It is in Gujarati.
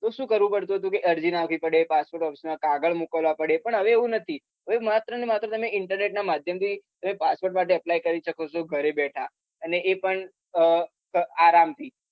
તો શું કરવું પડતું હતું અરજી નાખવી પડે passport office ના કાગળ મુક્લવા પડે તે હવે એવું નથી હવે માત્ર ને માત્ર internet ના માધ્યમ થી passport માટે apply કરી શકો છો ઘરે બેઠા અને એ પણ આહ આરામ થી